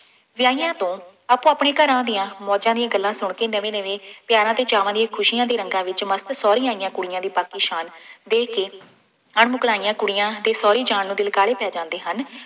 ਵਿਆਹੀਆਂ ਤੋਂ ਆਪੋ ਆਪਣੇ ਘਰਾਂ ਦੀਆਂ ਮੌਜਾਂ ਦੀਆ ਗੱਲਾਂ ਸੁਣ ਕੇ ਨਵੇਂ ਨਵੇਂ ਪਿਆਰਾਂ ਅਤੇ ਚਾਵਾਂ ਦੀਆਂ ਖੁਸ਼ੀਆਂ ਦੇ ਰੰਗਾਂ ਵਿੱਚ ਮਸਤ ਸਹੁਰੇ ਆਈਆਂ ਕੁੜੀਆਂ ਵੀ ਬਾਕੀ ਸ਼ਾਨ ਦੇ ਕੇ, ਅਣ-ਮੁਕਲਾਈਆਂ ਕੁੜੀਆਂ ਦੇ ਸਹੁਰੀ ਜਾਣ ਨੂੰ ਦਿਲ ਕਾਹਲੇ ਪੈ ਜਾਂਦੇ ਹਨ।